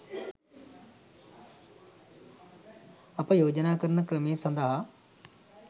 අප යෝජනා කරන ක්‍රමය සඳහා